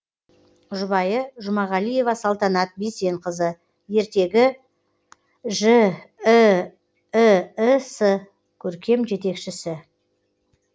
жұбайы жұмағалиева салтанат бейсенқызы ертегі жіііс керкем жетекшісі